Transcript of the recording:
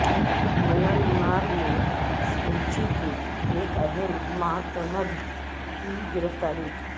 Myanmar میں Suu Kyi کے ایک اہم معتمد کی گرفتاری